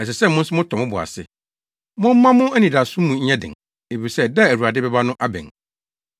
Ɛsɛ sɛ mo nso motɔ mo bo ase. Momma mo anidaso mu nyɛ den, efisɛ da a Awurade bɛba no abɛn.